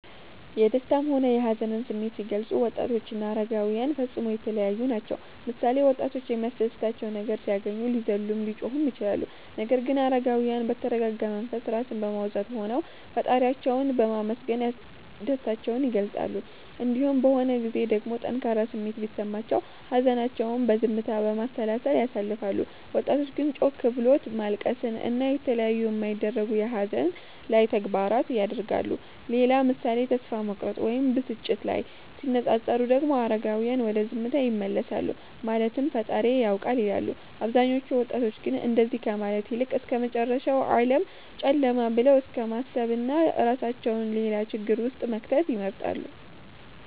የደሰታም ሆነ የሀዘንን ስሜት ሲገልፁ ወጣቶችና አረጋዉያን ፈፅሞ የተለያዪ ናቸዉ ምሳሌ፦ ወጣቶች የሚያስደስታቸው ነገር ሲያገኙ ሊዘሉም ሊጮሁም ይችላሉ ነገር ግን አረጋዉያን በተረጋጋ መንፈስ (ራስን በማዉዛት) ሆነዉ ፈጣሪያቸዉን በማመስገን ደስታቸዉን ይገልፃሉ። እንዲሁም በሆን ጊዜም ደግሞ ጠንካራ ስሜት ቢሰማቸውም ሀዘናቸዉን በዝምታ፣ በማሰላሰል ያሳልፋሉ ወጣቶች ግን ጮክ ብሎት ማልቀስን እና የተለያዩ የማይደረጉ የሀዘን ላይ ተግባራት ያደርጋሉ። ሌላ ምሳሌ ተስፋ መቁረጥ ወይም ብስጭት ላይ ሲነፃፀሩ ደግሞ አረጋዉያን ወደ ዝምታ ይመለሳሉ ማለትም ፈጣሪዬ ያዉቃል ይላሉ አብዛኞቹ ወጣቶች ግን እንደዚ ከማለት ይልቅ እስከመጨረሻዉ ዓለም ጨለማ ብለዉ እስከማሰብና እራሳቸዉን ሌላ ችግር ዉስጥ መክተትን ይመርጣሉ